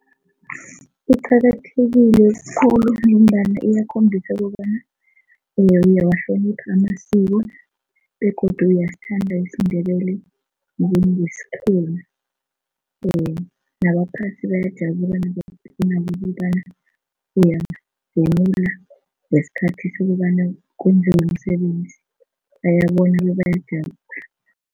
Kuqakathekile khulu ngombana iyakhombisa kobana uyawuhlonipha amasiko begodu uyasithanda isiNdebele isikhenu nabaphasi bayajabula ukobana uyavunula ngesikhathi sokobana umsebenzi bayabona